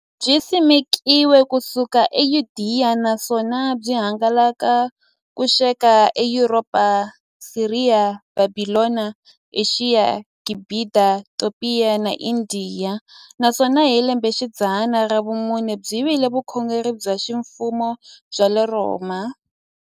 Byisimekiwe ku suka e Yudeya, naswona byi hangalake ku xika e Yuropa, Siriya, Bhabhilona, Ashiya, Gibhita, Topiya na Indiya, naswona hi lembexidzana ra vumune byi vile vukhongeri bya ximfumo bya le Rhoma.